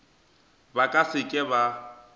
ba ka se ke ba